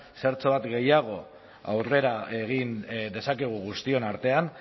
zertxobait gehiago aurrera egin dezakegu guztion artean